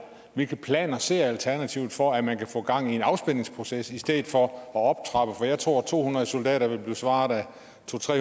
hvilke planer ser alternativet for at man kan få gang i en afspændingsproces i stedet for at optrappe for jeg tror at to hundrede soldater vil blive svaret af to